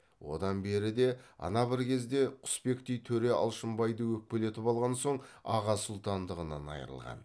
одан бері де ана бір кезде құсбектей төре алшынбайды өкпелетіп алған соң аға сұлтандығынан айрылған